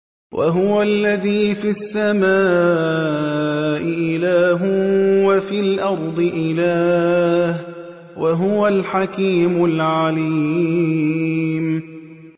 وَهُوَ الَّذِي فِي السَّمَاءِ إِلَٰهٌ وَفِي الْأَرْضِ إِلَٰهٌ ۚ وَهُوَ الْحَكِيمُ الْعَلِيمُ